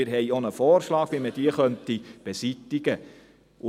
Wir haben auch einen Vorschlag, wie man diese beseitigen könnte.